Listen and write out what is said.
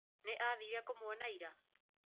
Nĩ aathire kũmuona ira?